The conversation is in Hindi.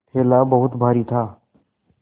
थैला बहुत भारी था